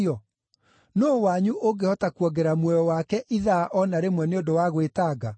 Nũũ wanyu ũngĩhota kuongerera muoyo wake ithaa o na rĩmwe nĩ ũndũ wa gwĩtanga?